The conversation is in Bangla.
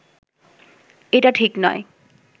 এটা ঠিক নয়